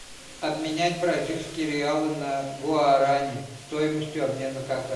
обменять бразильские реалы на гуарани стоимостью обмена